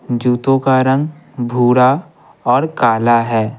जूतों का रंग भूरा और काला है।